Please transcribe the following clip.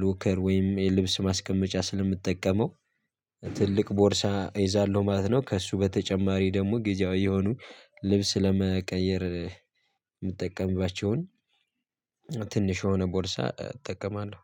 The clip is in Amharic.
ሎከር ወይም የልብስ ማስቀመጫ ስለምትጠቀመው ትልቅ ቦርሳ ይዛለሁ ማለት ነው። ከእሱ በተጨማሪ ደግሞ ግዛዊ የሆኑ ልብስ ለመቀየር የምጠቀምባቸውን ትንሽ የሆነ ቦርሳ እጠቀማለሁ